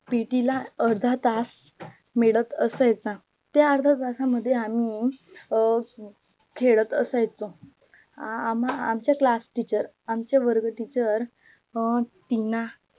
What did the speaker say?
PT ला अर्धा तास मिळत असायचा त्या अर्ध्या तासा मध्ये आम्ही अं खेळत असायचो आम्हाला आमच्य class teacher आमचे वर्ग teacher अं